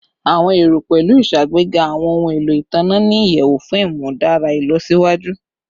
Awọn ero pẹlu iṣagbega awọn ohun elo itanna ni iyẹwu fun imudara ilọsiwaju